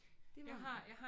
Det var